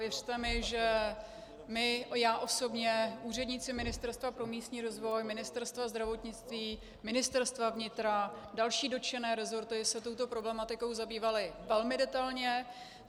Věřte mi, že my, já osobně, úředníci Ministerstva pro místní rozvoj, Ministerstva zdravotnictví, Ministerstva vnitra, další dotčené resorty se tuto problematikou zabývali velmi detailně.